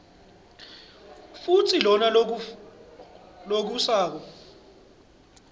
kutsi lona lofungisako